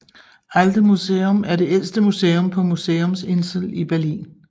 Altes Museum er det ældste museum på Museumsinsel i Berlin